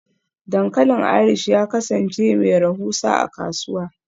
Dankalin Irish ya kasance mai rahusa a kasuwa.